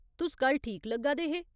तुस कल ठीक लग्गा दे हे।